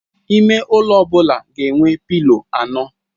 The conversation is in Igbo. Ime ụlọ ọ bụla ga enwe pilo anọ.